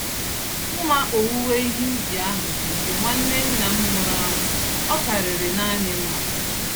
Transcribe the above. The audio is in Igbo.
Mma owuwe ihe ubi ahụ bụ nke nwanne nna m nwụrụ anwụ—ọ karịrị nanị mma.